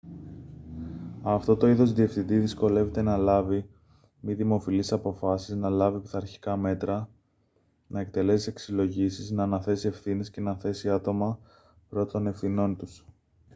αυτό το είδος διευθυντή δυσκολεύεται να λάβει μη δημοφιλείς αποφάσεις να λάβει πειθαρχικά μέτρα να εκτελέσει αξιολογήσεις να αναθέσει ευθύνες και να θέσει άτομα προ των ευθυνών τους